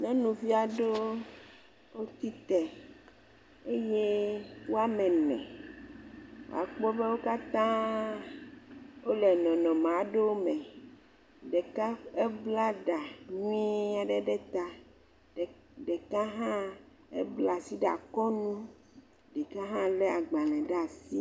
Nyɔnuvi aɖewo tsitre eye woame ene. Akpɔ be wo kata wole nɔnɔme aɖewo me. Ɖeka ebla ɖa nyuie aɖe ɖe ta, ɖeka hã bla asi ɖe akɔ nu. Ɖeka hã le agbalẽ ɖe asi.